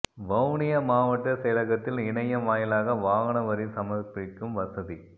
வவுனியா மாவட்ட செயலகத்தில் இணையம் வாயிலாக வாகன வரி சமர்ப்பிக்கும் வசதி